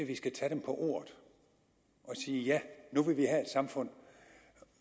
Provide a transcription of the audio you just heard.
vi skal tage dem på ordet og sige ja nu vil vi have et samfund